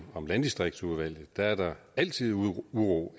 landdistriktsudvalget der er der altid uro